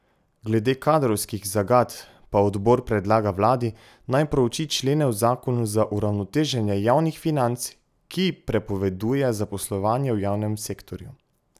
Glede kadrovskih zagat pa odbor predlaga vladi, naj prouči člene v zakonu za uravnoteženje javnih financ, ki prepoveduje zaposlovanje v javnem sektorju.